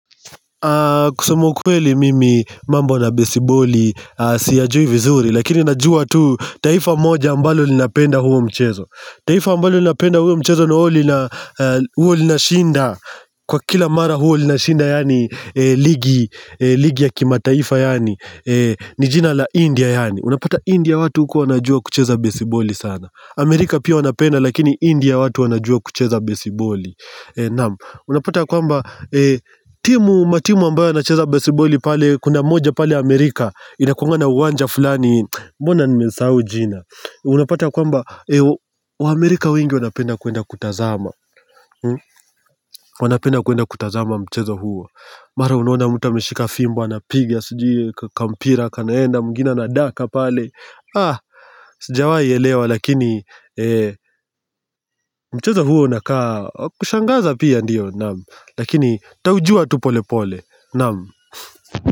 Kusema ukweli mimi mambo na besiboli siyajui vizuri lakini najua tu taifa moja ambalo linapenda huo mchezo taifa ambalo linapenda huo mchezo na huwa linashinda kwa kila mara huwa linashinda yaani ligi ya kimataifa yaani ni jina la India yaani unapata India watu huko wanajua kucheza besiboli sana Amerika pia wanapenda lakini India watu wanajua kucheza besiboli Unapata kwamba matimu ambayo yanacheza besiboli pale Kuna moja pale Amerika inakuanga na uwanja fulani Mbona nimesahau jina Unapata kwamba wa Amerika wengi wanapenda kuenda kutazama wanapenda kuenda kutazama mchezo huo Mara unaona mtu ameshika fimbo Anapigia sijui kampira Kanaenda mwingine anadaka pale sijawai elewa lakini Mchezo huo unakaa kushangaza pia ndiyo lakini nitaujua tu polepole, naam.